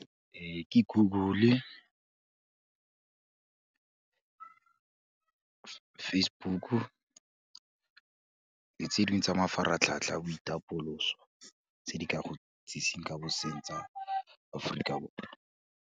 Ke Google-e , Facebook-u, le tse dingwe tsa mafaratlhatlha a boitapoloso tse di ka go itsiseng ka boseng tsa Aforika Borwa.